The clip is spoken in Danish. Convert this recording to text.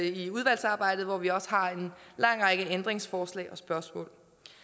i udvalgsarbejdet hvor vi også har en lang række ændringsforslag og spørgsmål